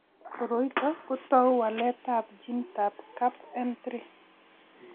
Koroi ito kotou waletab ginitab CAPN3.